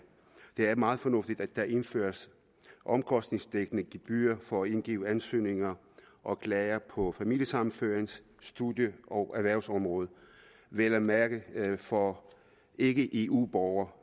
er meget fornuftigt at der indføres omkostningsdækkende gebyrer for at indgive ansøgninger og klager på familiesammenførings studie og erhvervsområdet vel at mærke for ikke eu borgere